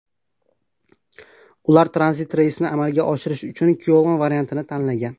Ular tranzit reysni amalga oshirish uchun Kyoln variantini tanlagan.